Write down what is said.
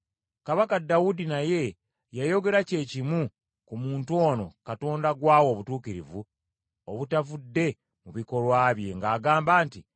Kabaka Dawudi naye yayogera kye kimu ku muntu ono Katonda gw’awa obutuukirivu obutavudde mu bikolwa bye ng’agamba nti: